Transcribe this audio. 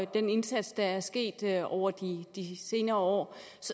den indsats der er sket over de senere år